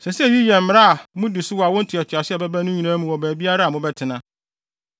“ ‘Ɛsɛ sɛ eyi yɛ mmara a mudi so wɔ awo ntoatoaso a ɛbɛba no nyinaa mu wɔ baabiara a mobɛtena.